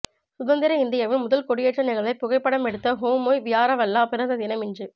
சுதந்திர இந்தியாவின் முதல் கொடியேற்ற நிகழ்வை புகைப்படம் எடுத்த ஹோமாய் வியாரவல்லா பிறந்த தினம் இன்று